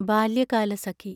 Balyakalasakhi